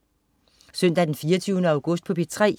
Søndag den 24. august - P3: